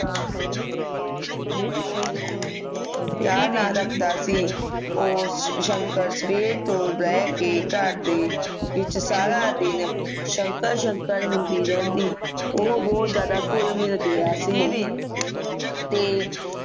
ਪਿਆਰ ਨਾਲ ਰੱਖਦਾ ਸੀ ਉਹ ਸ਼ੰਕਰ ਸਵੇਰ ਤੋਂ ਲੈ ਕੇ ਘਰ ਦੇ ਵਿਚ ਸਾਰਾ ਦਿਨ ਸ਼ੰਕਰ ਸ਼ੰਕਰ ਹੁੰਦੀ ਰਹਿੰਦੀ ਉਹ ਬਹੁਤ ਜਿਆਦਾ ਘੁਲ ਮਿਲ ਗਿਆ ਸੀ ਤੇ